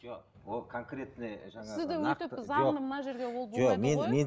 жоқ ол конкретный жаңағы